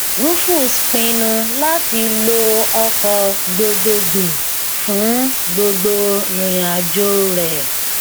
rufus pinnu láti lo ọkọ gbogbogbò fún gbogbo ìrìnàjò rẹ